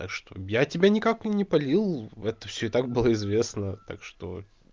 так что я тебя никак не палил в это всё и так было известно так что